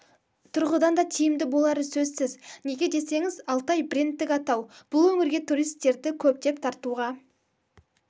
тұрғыдан да тиімді болары сөзсіз неге десеңіз алтай брендтық атау бұл өңірге туристерді көптеп тартуға